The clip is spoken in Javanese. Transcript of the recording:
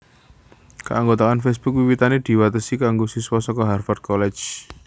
Kaanggotaan Facebook wiwitané diwatesi kanggo siswa saka Harvard College